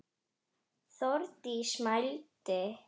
Þórdís mælti: